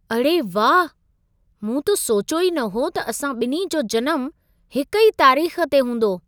अड़े वाह! मूं त सोचियो ई न हो त असां ॿिन्ही जो जनमु हिक ई तारीख़ ते हूंदो।